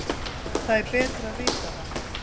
Það er betra að vita það.